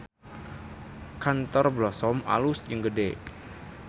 Kantor Blossom alus jeung gede